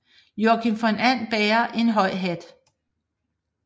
Joakim von And bærer en høj hat